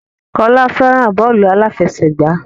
Kọ́lá fẹ́ràn bọ́ọ́lù aláfẹsẹ̀gbá.